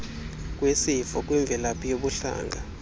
kwisifo kwimvelaphi yobuhlanga